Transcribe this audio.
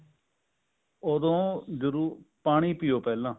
ਓਦੋਂ ਜਦੋਂ ਪਾਣੀ ਪਿਓ ਪਹਿਲਾਂ